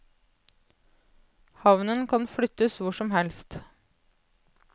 Havnen kan flyttes hvor som helst.